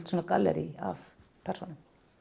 gallerí af persónum